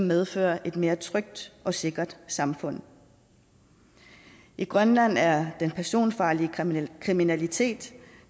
medfører et mere trygt og sikkert samfund i grønland er den personfarlige kriminalitet